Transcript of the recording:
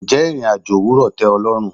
Ǹjẹ́ ìrìn-àjò òwúrò tẹ o lọ́run?